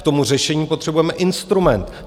K tomu řešení potřebujeme instrument.